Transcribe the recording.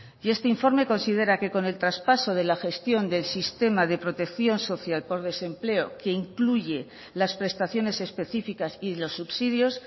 y este informe considera que con el traspaso de la gestión del sistema de protección social por desempleo que incluye las prestaciones específicas y los subsidios